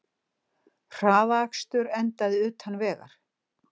Hraðakstur endaði utan vegar